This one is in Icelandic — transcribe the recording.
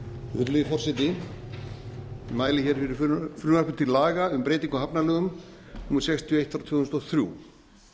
virðulegi forseti ég mæli hér fyrir frumvarpi til laga um breytingu á hafnalögum númer sextíu og eitt tvö þúsund og þrjú